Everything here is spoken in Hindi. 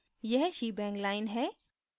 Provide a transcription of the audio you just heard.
यह shebang line है